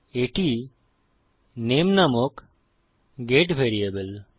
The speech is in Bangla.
এটি নামে নামক গেট ভ্যারিয়েবল